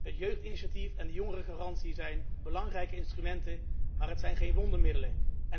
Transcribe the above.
Het jeugdinitiatief en de jongerengarantie zijn belangrijke instrumenten, maar het zijn geen wondermiddelen.